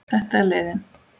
Þetta er leiðin.